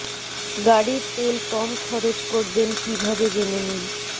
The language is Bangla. গাড়ির তেল কম খরচ করবেন কী ভাবে জেনে নিন